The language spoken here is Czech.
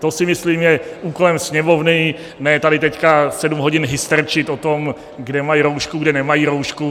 To si myslím je úkolem Sněmovny, ne tady teď sedm hodin hysterčit o tom, kde mají roušku, kde nemají roušku.